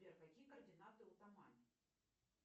сбер какие координаты у тамани